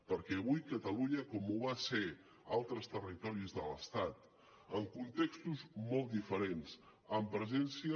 perquè avui catalunya com ho van ser altres territoris de l’estat en contextos molt diferents amb presència